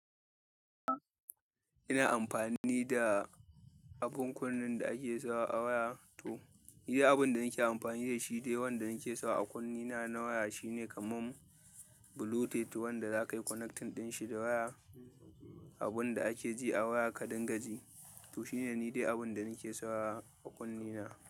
Ina amfani da abin kunnen da ake sawa a waya. To, ni dai abin da nake amfani da shi dai wanda nake sawa a kunne na na waya shine kaman bluetooth wanda za ka yi connecting ɗin shi da waya. Abin da ake ji a waya kaɗangaji. To shine ni dai abin da nake sawa a kunne na.